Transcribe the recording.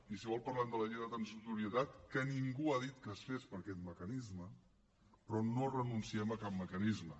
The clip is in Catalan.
i si vol parlem de la llei de transitorietat que ningú ha dit que es fes per aquest mecanisme però no renunciem a cap mecanisme